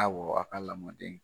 Awɔ a ka lamɔden.